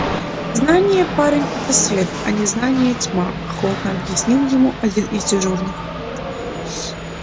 знание парень это свет а незнание тьма охотно объяснил ему один из дежурных